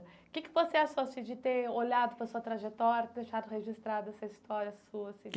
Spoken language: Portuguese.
O que que você achou, assim, de ter olhado para sua trajetória e deixado registrada essa história sua, assim?